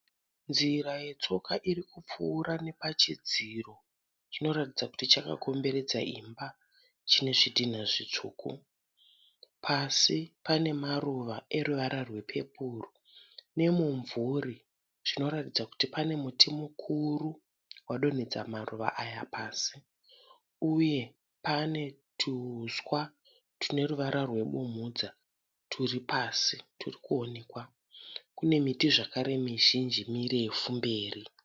Nzira yetsoka irikupfuura nepachidziro chinoratidza kuti chakakomberedza imba. Chine zvidhina zvitsvuku. Pasi pane maruva eruvara rwe pepuru. Nemumvuri chinoratidza kuti pane muti mukuru wadonhedza maruva aya pasi. Uye pane tuhuswa tune ruvara rwe bumhudza turi pasi turikuonekwa. Kune miti zvakare mizhinji mirefu mberi.